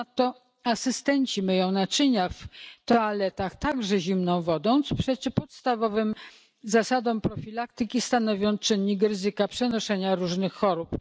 Ponadto asystenci myją naczynia w toaletach także zimną wodą, co przeczy podstawowym zasadom profilaktyki, stanowiąc czynnik ryzyka przenoszenia różnych chorób.